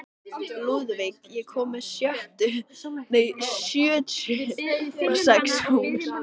Lúðvíg, ég kom með sjötíu og sex húfur!